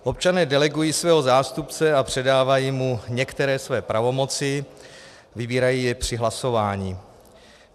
Občané delegují svého zástupce a předávají mu některé své pravomoci, vybírají je při hlasování.